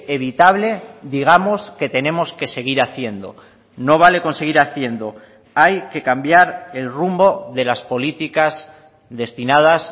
evitable digamos que tenemos que seguir haciendo no vale con seguir haciendo hay que cambiar el rumbo de las políticas destinadas